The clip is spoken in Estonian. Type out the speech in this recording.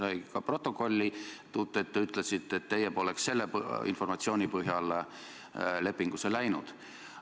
Ja see sai ka protokolli, et te ütlesite, et teie poleks selle informatsiooni põhjal lepingusse läinud.